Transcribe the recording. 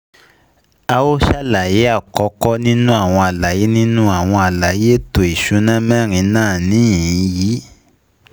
À ó ṣàlàyé àkọ́kọ́ nínú àwọn àlàyé nínú àwọn àlàyé èẹto ìsúná mẹ́rin náà níhìn-ín yi